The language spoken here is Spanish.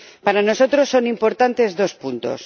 Para nosotros son importantes dos puntos.